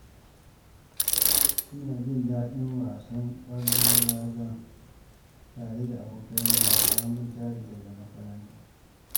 Ina jin daɗin yin wasan kwallon raga tare da abokaina bayan mun tashi daga makaranta